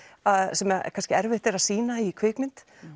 sem kannski erfitt er að sýna í kvikmynd